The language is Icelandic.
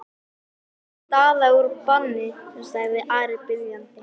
Leystu Daða úr banni, sagði Ari biðjandi.